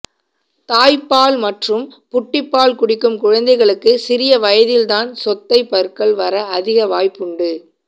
தாய்ப்பால் மற்றும் புட்டிப்பால் குடிக்கும் குழந்தைகளுக்கு சிறிய வயதில்தான் சொத்தைப் பற்கள் வர அதிக வாய்ப்புண்டு